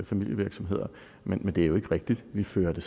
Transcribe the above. familievirksomheder men det er jo ikke rigtigt vi fører det